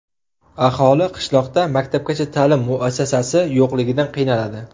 Aholi qishloqda maktabgacha ta’lim muassasasi yo‘qligidan qiynaladi.